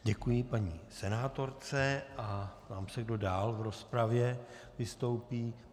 Děkuji paní senátorce a ptám se, kdo dál v rozpravě vystoupí.